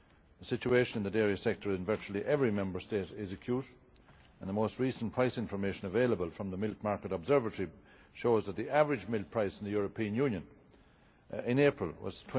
The situation in the dairy sector in virtually every Member State is acute, and the most recent price information available from the Milk Market Observatory shows that the average milk price in the European Union in April was